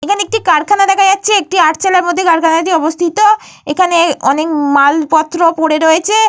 এখানে একটি কারখানা দেখা যাচ্ছে। একটি আটচালার মধ্যে কারখানাটি অবস্থিত। এখানে অনেক মালপত্র পড়ে রয়েছে।